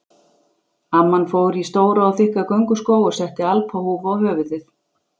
Amman fór í stóra og þykka gönguskó og setti alpahúfu á höfuðið.